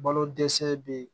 Balo dɛsɛ be yen